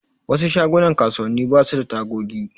Wasu shagunan kasuwanni basu da tagogi.